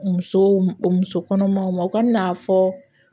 Musow muso kɔnɔmaw ma u ka n'a fɔ